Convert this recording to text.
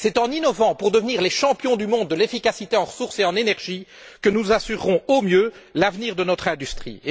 C'est en innovant pour devenir les champions du monde de l'efficacité en ressources et en énergie que nous assurerons au mieux l'avenir de notre industrie.